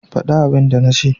Fada abin da na ce.